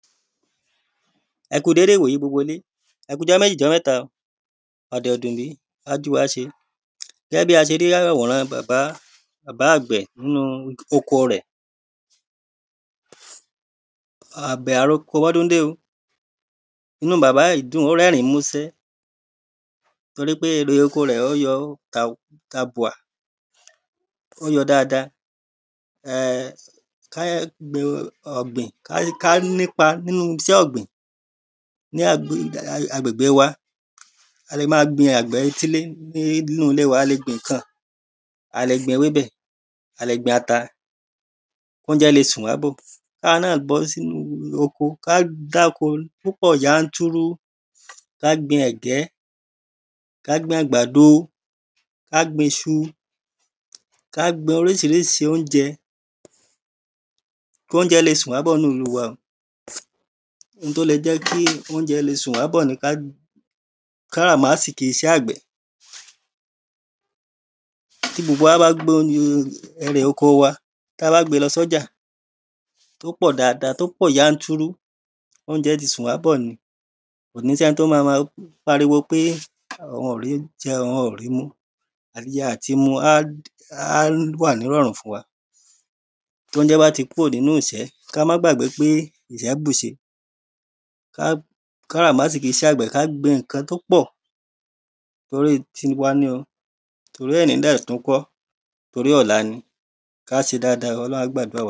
ẹ kú dede ìwò yi gbogbo ilé. ẹ kú ọjọ́ méjì ọjọ́ mẹ́ta. ọ̀dẹ̀ ọ̀dùnle á ju wa ṣe. Gẹgẹ bí a ṣe rí àwòran bàbá, bàbá àgbẹ̀ nínú oko rẹ̀ àbẹ̀ aroko bọ́dún de o. inú bàbá yí dun, bàbá yí rẹ́rìn múṣẹ tori pé èrè oko re o yọ́ tábuà, o yọ́ dada Ká gbin ọgbìn, ká nipá nínú iṣẹ́ ọgbìn ní agbègbè wa. A le ma gbin àgbẹ̀ etíle nínú ilé wa, a le gbin nkan A le gbin ewé bẹ́, a le gbin ata, ounjẹ́ le sùnwà bo, ká wa náa bọ́ sínú oko, ka dáko púpọ̀ yántúrú, ka gbin ẹ̀gẹ́, ka gbin agbadó, ka gbin iṣu Ka gbin orísirísi ounjẹ́ ko ounjẹ́ le sùnwà bo nínú ìlú wa o, oun to lé jẹ́ ounjẹ́ sùnwà bo ni ka karamasiki iṣẹ àgbẹ̀ Kí gbogbo wa bá gbé nu èrè oko wa, tá bá gbe lọ́ sọ́jà, tó pọ̀, tó pọ̀ yan tu ru ounjẹ́ tí sùnwà bo ni. Kò ní sẹ́ni to má má páriwo pe oun o rí jẹ́, oun o ri mu. Atíjẹ atímú a wa nìranrùn fún wa Ti ounjẹ́ bá ti kúrò nínú ìṣẹ́, ká ma gbàgbé ìṣẹ́ bu ṣe ka karamasiki iṣẹ àgbẹ̀, ka gbin nkan tí o pọ́ torí tiwa ní o, tori èní dẹ́ tun kọ, torí ọ̀lá ni. Ka ṣe dada, ọlọrun a gba adua wa